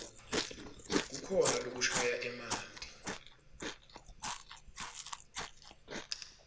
kukhona lokushaya emanti